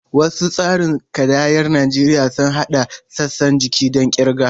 Wasu tsarin kidayar Najeriya sun haɗa sassan jiki don kirga.